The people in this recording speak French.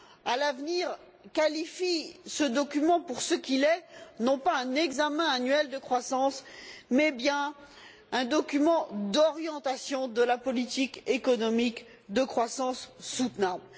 à l'avenir, qualifie ce document de ce qu'il est, à savoir non pas un examen annuel de croissance, mais bien un document d'orientation de la politique économique de croissance soutenable.